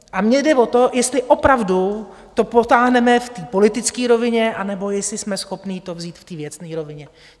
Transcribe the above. A mně jde o to, jestli opravdu to potáhneme v té politické rovině, anebo jestli jsme schopní to vzít v té věcné rovině.